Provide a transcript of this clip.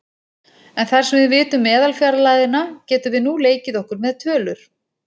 En þar sem við vitum meðalfjarlægðina getum við nú leikið okkur með tölur.